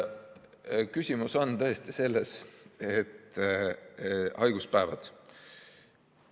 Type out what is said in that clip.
Küsimus on tõesti haiguspäevades.